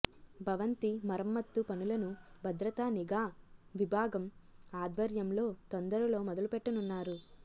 భవంతి మరమ్మత్తు పనులను భద్రతా నిఘా విభాగం ఆధ్వర్యంలో తొందరలో మొదలుపెట్టనున్నారు